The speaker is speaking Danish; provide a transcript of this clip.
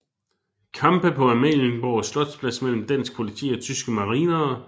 Kampe på Amalienborg Slotsplads mellem dansk politi og tyske marinere